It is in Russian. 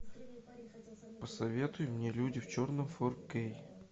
посоветуй мне люди в черном фор кей